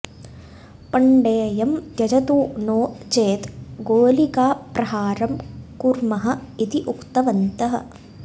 पण्डेयं त्यजतु नो चेत् गोलिकाप्रहारं कुर्मः इति उक्तवन्तः